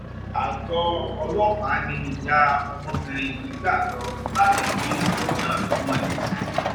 àgọ ọlọpàá ni ìyá ọmọbìnrin yìí gbà lọ láti fi ọrọ náà tó wọn létí